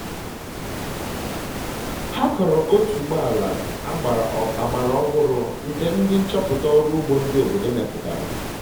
ha kọrọ otuboala agbara ọhụrụ nke ndi nchọpụta ọrụ ugbo ndị obodo mepụtara